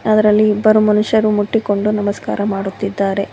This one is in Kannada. ಅದರಲ್ಲಿ ಇಬ್ಬರು ಮನುಷ್ಯರು ಮುಟ್ಟಿಕೊಂಡು ನಮಸ್ಕಾರ ಮಾಡುತ್ತಿದ್ದಾರೆ.